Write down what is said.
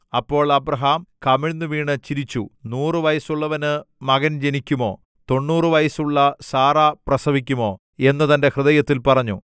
അപ്പോൾ അബ്രാഹാം കമിഴ്ന്നുവീണു ചിരിച്ചു നൂറു വയസ്സുള്ളവന് മകൻ ജനിക്കുമോ തൊണ്ണൂറു വയസ്സുള്ള സാറാ പ്രസവിക്കുമോ എന്ന് തന്റെ ഹൃദയത്തിൽ പറഞ്ഞു